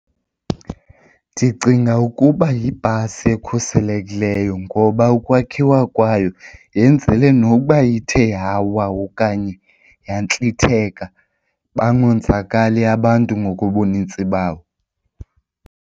Ndicinga ukuba yibhasi ekhuselekileyo ngoba ukwakhiwa kwayo yenzele nokuba ithe yawa okanye yantlithetha bangonzakali abantu ngokobunintsi babo.